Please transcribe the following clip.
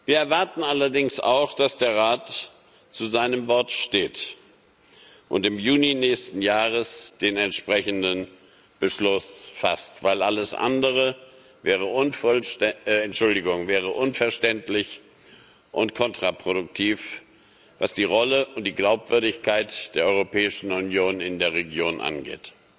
Wir erwarten allerdings auch, dass der Rat zu seinem Wort steht und im Juni nächsten Jahres den entsprechenden Beschluss fasst, denn alles andere wäre unverständlich und kontraproduktiv, was die Rolle und die Glaubwürdigkeit der Europäischen Union in der Region angeht.